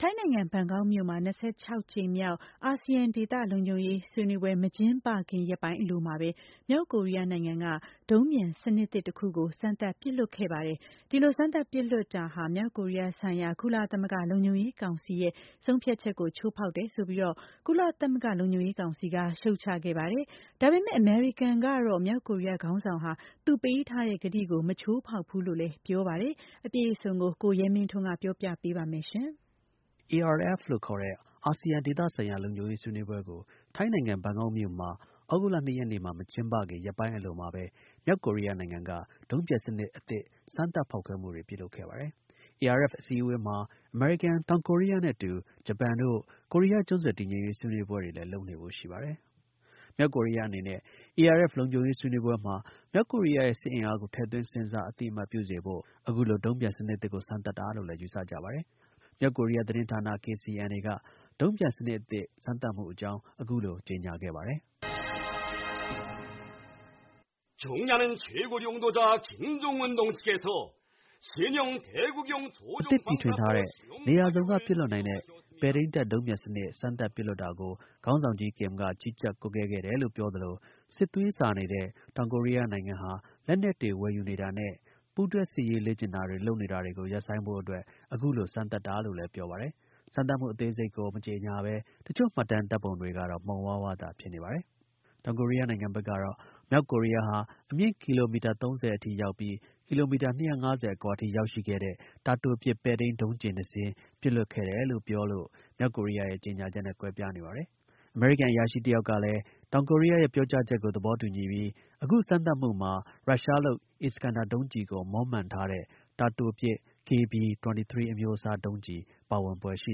ထိုင်းနိုင်ငံ ဘန်ကောက်မြို့မှာ (၂၆)ကြိမ်မြောက် အာဆီယံ ဒေသ လုံခြုံရေး ဆွေးနွေးပွဲ (ARF) မကျင်းပခင် ရက်ပိုင်းအလိုမှာပဲ မြောက်ကိုရီးယားနိုင်ငံက ဒုံးပျံ စနစ်သစ်တစ်ခုကို စမ်းသပ် ပစ်လွှတ်ခဲ့ပါတယ်။ အဲဒီလို စမ်းသပ် ပစ်လွှတ်မှုဟာ မြောက်ကိုရီးယားဆိုင်ရာ ကုလသမဂ္ဂ လုံခြုံရေးကောင်စီရဲ့ ဆုံးဖြတ်ချက်ကို ချိုးဖောက်တယ်ဆိုပြီး ကုလသမဂ္ဂ လုံခြုံရေးကောင်စီက ရှုတ်ချခဲ့ပါတယ်။ ဒါပေမဲ့ အမေရိကန်နိုင်ငံကတော့ မြောက်ကိုရီးယား ခေါင်းဆောင်ဟာ သူပေးထားတဲ့ ကတိကို မချိုးဖောက်ဖူးလို့လည်း ပြောပါတယ်။ အပြည့်အစုံကို ကိုရဲမင်းထွန်းက တင်ပြပါမယ်။ ARF လို့ခေါ်တဲ့ အာဆီယံ ဒေသဆိုင်ရာ လုံခြုံရေး ဆွေးနွေးပွဲကို ထိုင်းနိုင်ငံ၊ ဘန်ကောက်မြို့မှာ သြဂုတ်လ ၂ ရက်နေ့မှာ မကျင်းပခင် ရက်ပိုင်း အလိုမှာပဲ မြောက်ကိုရီးယားနိုင်ငံက ဒုံးပျံစနစ် စမ်းသပ် ဖောက်ခွဲမှုတွေ ပြုလုပ်ခဲ့ပါတယ်။ ARF အစည်းအဝေးမှာ အမေရိကန်၊ တောင်ကိုရီးယား နဲ့အတူ ဂျပန်နိုင်ငံတို့ ကိုရီးယား ကျွန်းဆွယ်တည်ငြိမ်ရေး ဆွေးနွေးပွဲလည်း လုပ်ဖို့ ရှိနေပါတယ်။ မြောက်ကိုရီးယားအနေနဲ့ ARF ဆွေးနွေးပွဲမှာ မြောက်ကိုရီးယားရဲ့ စစ်အင်အားကို ထည့်သွင်း စဉ်းစား အသိအမှတ်ပြုရာမှာ အထောက်အကူ ဖြစ်စေဖို့ စမ်းသပ်တာလို့လည်း ယူဆကြပါတယ်။ မြောက်ကိုရီးယား သတင်းဌာန KCNA က ဒုံကျည် စမ်းသပ်မှု အကြောင်း အခုလို ကြေညာခဲ့ပါတယ်။ “အသစ် တီထွင်ထားတဲ့ နေရာစုံက ပစ်လွှတ်နိုင်တဲ့ ပဲထိန်းတပ် ဒုံးပျံစနစ် စမ်းသပ်ပစ်လွှတ်တာကို ခေါင်းဆောင်ကြီး Kim က ကြီးကြပ် ကွပ်ကဲခဲ့တယ်လို့ ပြောသလို စစ်သွေးဆာနေတဲ့ တောင်ကိုရီးယား နိုင်ငံ လက်နက်တွေ ဝယ်ယူနေတာနဲ့ ပူးတွဲ စစ်ရေး လေ့ကျင့်တာ လုပ်နေတာတွေ ကို ရပ်ဆိုင်းဖို့အတွက် အခုလို စမ်းသပ်တာလို့လည်း ပြောပါတယ်။ စမ်းသပ်မှု အသေးစိတ်ကို မကြေညာဘဲ တစ်ချို့ မှတ်တမ်း တွေကလည်း မှုန်ဝါးဝါးသာ ဖြစ်ပါတယ်။ တောင်ကိုရီးယားနိုင်ငံဘက်ကတော့ မြောက်ကိုရီးယားဟာ အမြင့် ကီလိုမီတာ ၃၀ အထိရောက်ပြီး ကီလိုမီတာ ၂၅၀ အကွာထိ ရောက်ရှိခဲ့တဲ့ တာတိုပစ် ပဲထိန်း ဒုံးကျည် နှစ်စင်း ပစ်လွှတ်ခဲ့တယ်လို့ ပြောလို့ မြောက်ကိုရီးယားရဲ့ ကြေညာချက်နဲ့ ကွဲပြားနေပါတယ်။ အမေရိကန် အရာရှိ တစ်ယောက် လည်း တောင်ကိုရီးယားရဲ့ ပြောကြားချက်ကို သဘောတူပြီး အခုစမ်းသပ်မှုမှာ ရုရှားလုပ် Iskander ဒုံးကျည်ကို မွမ်းမံထားတဲ့ တာတိုပစ် KB-23 အမျိုးအစား ဒုံးကျည်ပါဝင်ဖွယ်ရှိ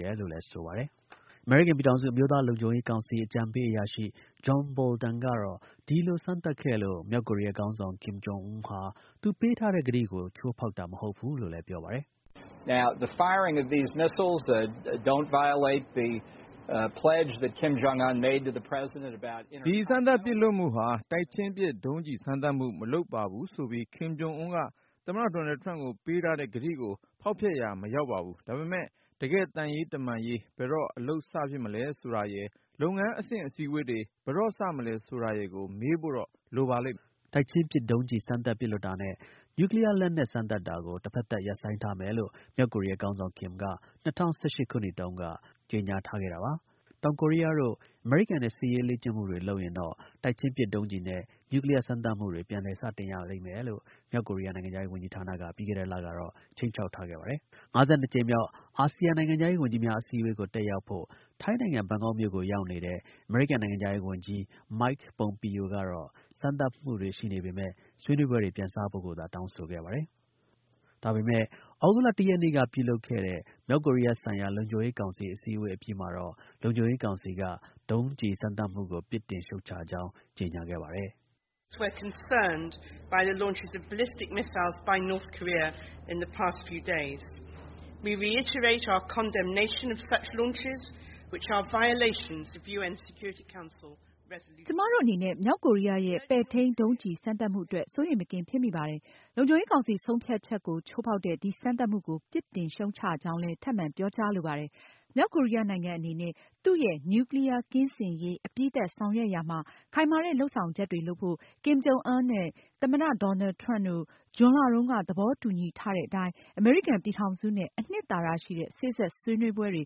တယ်လို့ ဆိုပါတယ်။ အမေရိကန်ပြည်ထောင်စု အမျိုးသား လုံခြုံရေးကောင်စီ အကြံပေးအရာရှိ John Bolton ကတော့ ဒီလို စမ်းသပ်ခဲ့လို့ မြောက်ကိုရီးယား ခေါင်းဆောင် Kim Jong Un ဟာ သူပေးထားတဲ့ ကတိကို ချိုးဖောက်တာ မဟုတ်ဘူးလို့ ပြောပါတယ်။ “ဒီ စမ်းသပ် ပစ်လွှတ်မှုဟာ တိုက်ချင်းပစ် ဒုံးကျည် စမ်းသပ်မှု မလုပ်ပါဘူးဆိုပြီး Kim Jong Un က သမ္မတ ဒေါ်နယ်ထရမ့်ကို ပေးထားခဲ့တဲ့ ကတိကို ဖောက်ဖျက်ရာ မရောက်ပါဘူး။ ဒါပေမဲ့ တကယ့် သံရေးတမန်ရေး ဘယ်တော့ အလုပ် စ ဖြစ်မလဲဆိုတာရယ်၊ လုပ်ငန်းအဆင့် အစည်းအဝေးတွေ ဘယ်တော့ စမလဲ ဆိုတာရယ်ကို မေးဖို့တော့ လိုပါလိမ့်တယ်။” တိုက်ချင်းပစ် ဒုံးကျည် စမ်းသပ် ပစ်လွှတ်တာနဲ့ နျူးကလီးယား လက်နက် စမ်းသပ်တာကို တစ်ဖက်သတ် ရပ်ဆိုင်းထားမယ်လို့ မြောက်ကိုရီးယား ခေါင်းဆောင် Kim က ၂၀၁၈ ခုနှစ်တုန်းက ကြေညာထားခဲ့တာပါ။ တောင်ကိုရီးယားတို့ အမေရိကန်နဲ့ စစ်ရေးလေ့ကျင့်မှုတွေ လုပ်ရင်တော့ တိုက်ချင်းပစ် ဒုံးကျည်နဲ့ နျူးကလီးယား စမ်းသပ်မှု ပြန် စရလိမ့်မယ်လို့ မြောက်ကိုရီးယား နိုင်ငံခြားရေး ဝန်ကြီးဌာနက ပြီးခဲ့တဲ့လကတော့ ခြိမ်းခြောက်ထားခဲ့ပါတယ်။ (၅၂) ကြိမ်မြောက် အာဆီယံ နိုင်ငံခြားရေးဝန်ကြီးများ အစည်းအဝေးကို တက်ရောက်ဖို့ ထိုင်းနိုင်ငံ ဘန်ကောက်မြို့ကို ရောက်နေတဲ့ အမေရိကန် နိုင်ငံခြားရေး ဝန်ကြီး Mike Pompeo က တော့ စမ်းသပ်မှုတွေ ရှိနေပေမဲ့ ဆွေးနွေးပွဲတွေ ပြန်စဖို့ကိုသာ တောင်းဆိုခဲ့ပါတယ်။ ဒါပေမယ့် သြဂုတ်လ ၁ ရက်နေ့က လုပ်ခဲ့တဲ့ မြောက်ကိုရီးယားဆိုင်ရာ လုံခြုံရေးကောင်စီ အစည်းအဝေး အပြီးမှာတော့ လုံခြုံရေးကောင်စီက ဒုံးကျည် စမ်းသပ်မှုကို ပြစ်တင် ရှုတ်ချ ကြောင်း ကြေညာခဲ့ပါတယ်။ “ကျွန်မတို့ အနေနဲ့ မြောက်ကိုရီးယား ပဲ့ထိန်း ဒုံးကျည် စမ်းသပ်မှုအတွက် စိုးရိမ် မကင်းဖြစ်မိပါတယ်။ လုံခြုံရေးကောင်စီ ဆုံးဖြတ်ချက်ကို ချိုးဖောက်တဲ့ ဒီ စမ်းသပ်မှုကို ပြစ်တင် ရှုတ်ချကြောင်းလည်း ထပ်မံ ပြောကြားလိုပါတယ်။ မြောက်ကိုရီးယားနိုင်ငံအနေနဲ့ သူ့ရဲ့ နျူးကလီးယား ကင်းစင်ရေး အပြီးသတ် ဆောင်ရွက်ရာမှာ ခိုင်မာတဲ့ လုပ်ဆောင်ချက်တွေ လုပ်ဖို့ နဲ့ Kim Jong Un နဲ့ သမ္မတ ဒေါ်နယ် ထရမ့်တို့ ဇွန်လတုန်းက သဘောတူညီထားကြတဲ့အတိုင်း အမေရိကန် ပြည်ထောင်စုနဲ့ အနှစ်သာရ ရှိတဲ့ စေ့စပ် ဆွေးနွေး ပွဲတွေ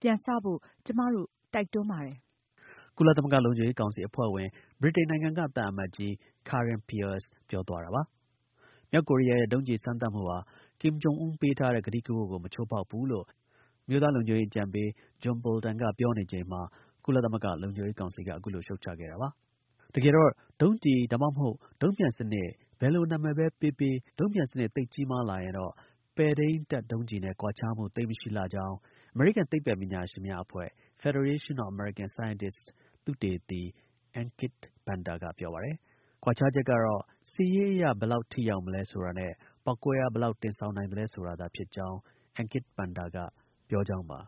ပြန်စဖို့ ကျွန်မတို့ တိုက်တွန်းပါတယ်။” ကုလသမဂ္ဂ လုံခြုံရေးကောင်စီ အဖွဲ့ဝင် ဗြိတိန်နိုင်ငံက သံအမတ်ကြီး Karen Pierce ပြောသွားတာပါ။ မြောက်ကိုရီးယားရဲ့ ဒုံးပျံစနစ် စမ်းသပ်မှုဟာ Kim Jong Un ပေးထားတဲ့ ကတိကဝတ်ကို မချိုးဖောက်ဖူးလို့ အမျိုးသား လုံခြုံရေး အကြံပေး John Bolton က ပြောနေချိန် မှာ ကုလသမဂ္ဂ လုံခြုံရေးကောင်စီက အခုလို့ ရှုတ်ချခဲ့တာပါ။ တကယ်တော့ ဒုံးကျည် ဒါမှမဟုတ် ဒုံးပျံစနစ် ဘယ်လို နာမည်ပဲ ပေးပေး ဒုံးပျံစနစ် သိပ်ကြီးမား လာရင်တော့ ပဲ့ထိန်းသုံး ဒုံးကျည်နဲ့ကွာခြားမှု သိပ်မရှိလှကြောင်း အမေရိကန်သိပ္ပံ ပညာရှင်များ အဖွဲ့က သုတေသီ Ankit Panda ပြောပါတယ်။ ကွာခြားချက်ကတော့ စစ်ရေးအရ ဘယ်လောက် ထိရောက်မလဲ ဆိုတာနဲ့ ပေါက်ကွဲအား ဘယ်လောက် တင်ဆောင်နိုင်သလဲဆိုတာသာ ဖြစ်ကြောင်း Ankit Panda က ပြောကြောင်းပါ